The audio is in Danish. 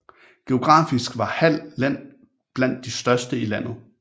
Geografisk var Hald Len blandt de største i landet